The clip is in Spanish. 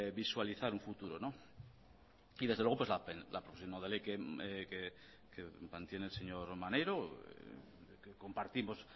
visualizar un futuro no y desde luego pues la proposición no de ley que mantiene el señor maneiro compartimos